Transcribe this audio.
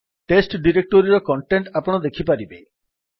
test ଡିରେକ୍ଟୋରୀର content ଆପଣ ଦେଖିପାରିବେ